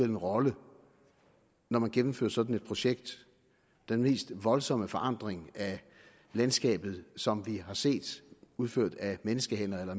en rolle når man gennemfører sådan et projekt den mest voldsomme forandring af landskabet som vi har set udført af menneskehænder eller af